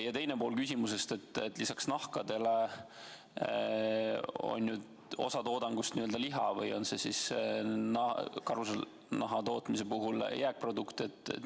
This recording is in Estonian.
Ja teine pool küsimusest: lisaks nahkadele on ju osa toodangust liha või on see karusnaha tootmise puhul jääkprodukt.